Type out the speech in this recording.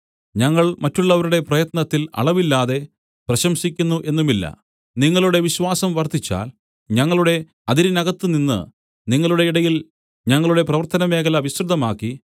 ഞങ്ങൾ മറ്റുള്ളവരുടെ പ്രയത്നത്തിൽ അളവില്ലാതെ പ്രശംസിക്കുന്നു എന്നുമില്ല നിങ്ങളുടെ വിശ്വാസം വർദ്ധിച്ചാൽ ഞങ്ങളുടെ അതിരിനകത്ത് നിന്ന് നിങ്ങളുടെ ഇടയിൽ ഞങ്ങളുടെ പ്രവർത്തനമേഖല വിസ്തൃതമാക്കി